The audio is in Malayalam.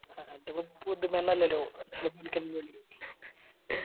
അതിപ്പോ പുതുമയൊന്നും അല്ലല്ലോ